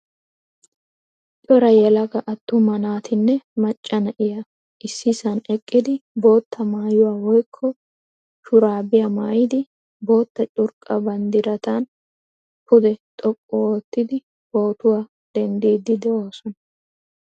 Cora yelaga attuma naatinne macca na'iyaa issisaan eqqidi bootta maayuwaa woykko shurabiya maayidi bootta curqqa banddiratan pude xoqqu ottidi pootuwaa denddidi deosona.